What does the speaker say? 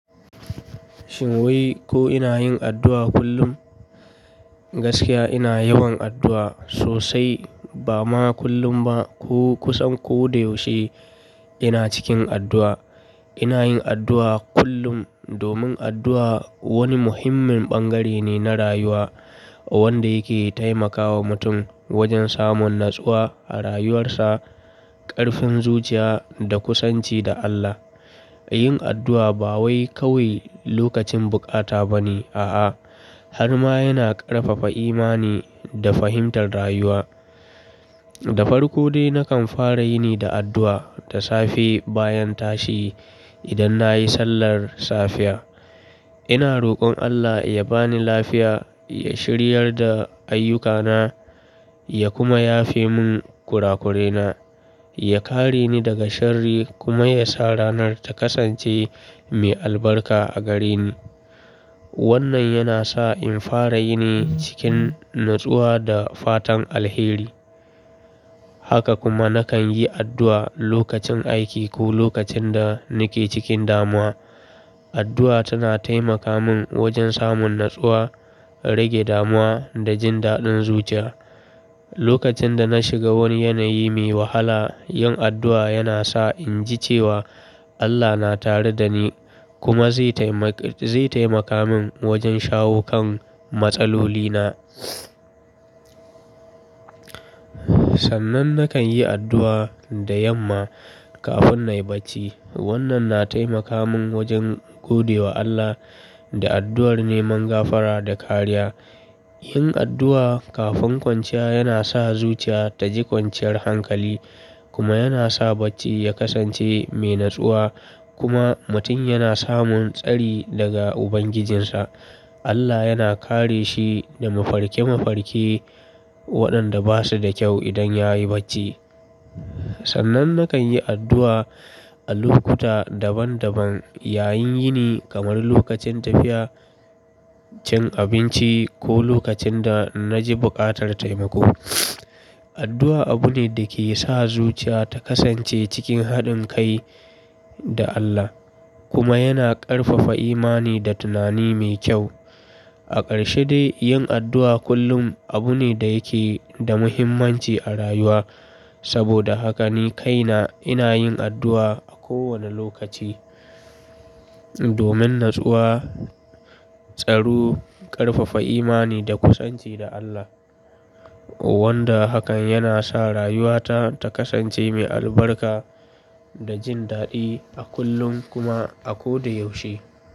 Shin wai ko ina yin addu'a kullum? Gaskiya ina yawan addu'a sosai, bama kullum ba ko kusan ko da yaushe ina cikin addu'a. Ina yin addu'a kullum domin addu'a wani muhimmin bangare ne na rayuwa wanda yake taimakawa mutum wajen samun natsuwa a rayuwarsa, ƙarfin zuciya da kusanci da Allah. Yin addu'a ba wai kawai lokacin bukata ba ne a'a, har ma yana ƙarfafa imani da fahimtar rayuwa. Da farko dai nakan fara yini da addu'a da safe bayan tashi idan nayi sallar safiya. Ina rokon Allah ya bani lafiya, ya shiryar da ayyukana, ya kuma yafe mun kurakurena, ya kareni daga sharri kuma yasa ranar ta kasance mai albarka a gareni. Wannan yana sa in fara yini cikin natsuwa da fatan alheri. Haka kuma nakan yi addu'a lokacin aiki ko lokacin da nake cikin damuwa. Addu'a tana taimaka mun wajen samun natsuwa, rage damuwa da jin daɗin zuciya. Lokacin da na shiga wani yanayi me wahala yin addu'a yana sa inji cewa Allah na tare da ni kuma zai taimak- zai taimaka mun wajen shawo kan matsalolina. Sannan nakan yi addu'a da yamma kafin nayi bacci. Wannan na taimaka mun wajen gode wa Allah da addu'ar neman gafara da kariya. Yin addu'a kafin kwanciya yana sa zuciya ta ji kwanciyar hankali kuma yana sa bacci ya kasance mai natsuwa kuma mutum yana samun tsari daga Ubangijinsa. Allah yana kare shi da mafarke mafarke waɗanda basu da kyau idan yayi bacci. Sannan nakan yi addu'a a lokuta daban daban yayin yini kamar lokacin tafiya, cin abinci ko lokacin da na ji buƙatar taimako. Addu'a abu ne da ke sa zuciya ta kasance cikin haɗin kai da Allah kuma yana ƙarfafa imani da tunani mai kyau. A ƙarshe dai yin addu'a kullum abu ne da yake da muhimmanci a rayuwa. Saboda haka ni kaina ina yin addu'a a kowane lokaci domin natsuwa, tsaro, ƙarfafa imani da kusanci da Allah wanda hakan yana sa rayuwata ta kasance mai albarka da jin daɗi a kullum kuma a ko da yaushe.